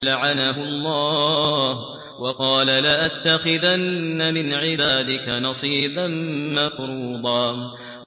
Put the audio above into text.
لَّعَنَهُ اللَّهُ ۘ وَقَالَ لَأَتَّخِذَنَّ مِنْ عِبَادِكَ نَصِيبًا مَّفْرُوضًا